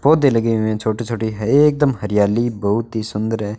पौधे लगे हुए हैं छोटे छोटे है एकदम हरियाली बहुत ही सुंदर है।